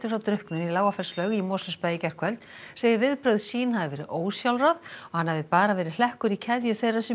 frá drukknun í í Mosfellsbæ í gærkvöld segir viðbrögð sín hafa verið ósjálfráð og hann hafi bara verið hlekkur í keðju þeirra sem